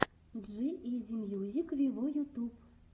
джи изи мьюзик виво ютуб